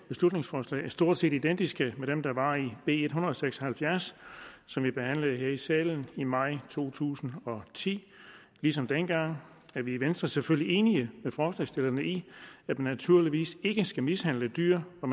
beslutningsforslag er stort set identiske med dem der var i b en hundrede og seks og halvfjerds som vi behandlede her i salen i maj to tusind og ti ligesom dengang er vi i venstre selvfølgelig enige med forslagsstillerne i at man naturligvis ikke skal mishandle dyr og